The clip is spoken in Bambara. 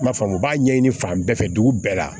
N m'a faamu u b'a ɲɛɲini fan bɛɛ fɛ dugu bɛɛ la